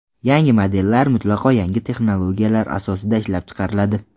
Yangi modellar mutlaqo yangi texnologiyalar asosida ishlab chiqariladi.